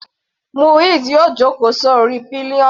Muiz yóò jókòó sí orí pillion.